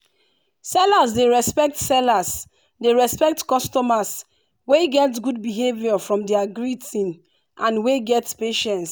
sellers dey respect sellers dey respect customers wey get good behavior from their greetingand wey get patience.